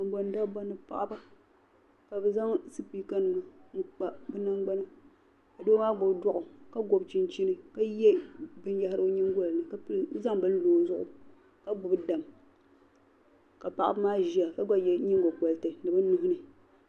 Kabɔn dabba ni paɣiba kabi zaŋ sipiikanima n kpa bi nan gbana, ka doo gbubi dɔɣɔ ka gobi chinchini , ka ye bin yahiri o nyingolini kazaŋ bini n lɔ ozuɣu kagbubi dam paɣiba maa ziya ka gba ye nyingo koriti ni bi nuhi ni.